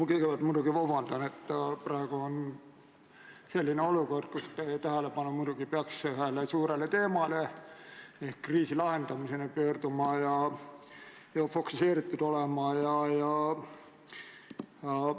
Ma kõigepealt muidugi palun vabandust: praegu on selline olukord, kus teie tähelepanu peaks olema fokuseeritud ühele suurele teemale ehk kriisi lahendamisele.